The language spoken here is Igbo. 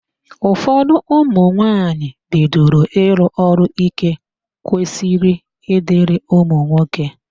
Ụfọdụ ụmụnwaanyị bidoro ịrụ ọrụ íké kwesịrị ịdịrị ụmụnwoke.